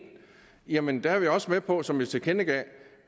jamen der er vi også med på som vi tilkendegav